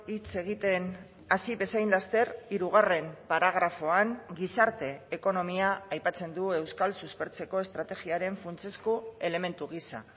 hitz egiten hasi bezain laster hirugarren paragrafoan gizarte ekonomia aipatzen du euskal suspertzeko estrategiaren funtsezko elementu gisa